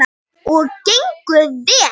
Og gengur vel.